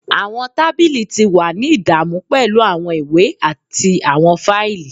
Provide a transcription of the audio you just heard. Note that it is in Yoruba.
Awọn tabili ti wa ni idamu pẹlu awọn iwe ati awọn faili.